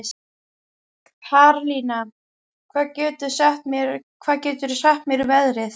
Karlinna, hvað geturðu sagt mér um veðrið?